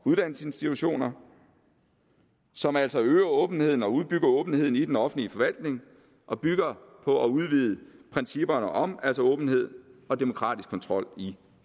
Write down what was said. uddannelsesinstitutioner og som altså øger åbenheden og udbygger åbenheden i den offentlige forvaltning og bygger på at udvide principperne om åbenhed og demokratisk kontrol i